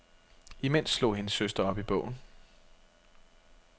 Imens slog hendes søster op i bogen.